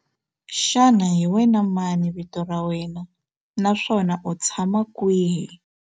Xana hi wena mani vito ra wena naswona u tshama kwihi?